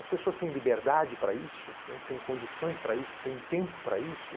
As pessoas têm liberdade para isso, né, têm condições para isso, têm tempo para isso.